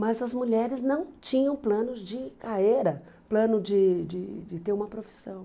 Mas as mulheres não tinham planos de carreira, plano de de de ter uma profissão.